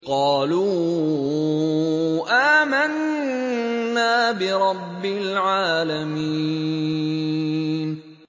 قَالُوا آمَنَّا بِرَبِّ الْعَالَمِينَ